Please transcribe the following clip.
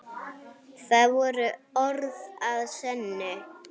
Það voru orð að sönnu.